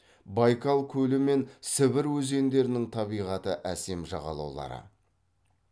байкал көлі мен сібір өзендерінің табиғаты әсем жағалаулары